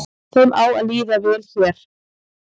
Þeim á að líða vel hér